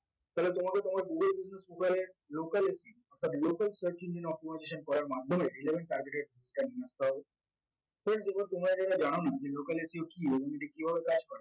তালে তোমাকে তোমার google business local search engine optimization করার মাধ্যমে relevant targeted নিয়ে friend যেগুলা তোমরা যারা জানোনা যে local SEO কি এবং এটি কিভাবে কাজ করে